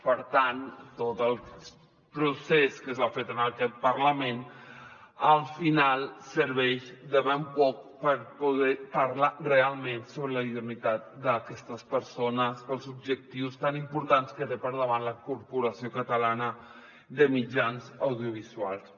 per tant tot el procés que s’ha fet en aquest parlament al final serveix de ben poc per poder parlar realment sobre la idoneïtat d’aquestes persones per als objectius tan importants que té per davant la corporació catalana de mitjans audiovisuals